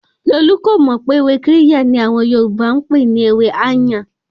Kolu kò mọ̀ wípé ewé Kirya ni àwọn Yorùbá n pè ní ewẹ́ "áyàn".